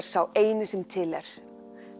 sá eini sem til er